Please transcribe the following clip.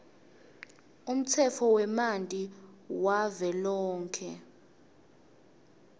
umtsetfo wemanti wavelonkhe